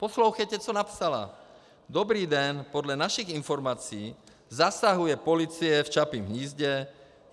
Poslouchejte, co napsala: Dobrý den, podle našich informací zasahuje policie v Čapím hnízdě.